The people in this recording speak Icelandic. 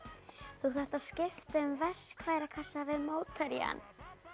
þú þarft að skipta um verkfærakassa við mótherjann